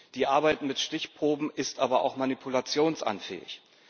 Die Arbeit mit Stichproben ist aber auch manipulationsanfällig.